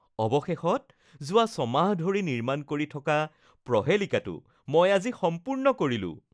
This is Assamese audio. অৱশেষত, যোৱা ছমাহ ধৰি নিৰ্মাণ কৰি থকা প্ৰহেলিকাটো মই আজি সম্পূৰ্ণ কৰিলোঁ